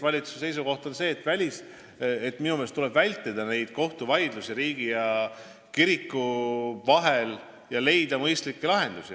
Minu meelest tuleb vältida kohtuvaidlusi riigi ja kiriku vahel ning leida mõistlikke lahendusi.